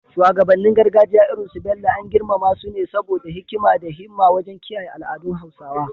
Shugabannin gargajiya irin su Bello, an girmama su ne saboda hikima da himma wajen kiyaye al’adun Hausawa.